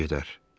Keçib gedər.